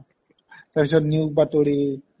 তাৰপিছত নিয়োগ বাতৰি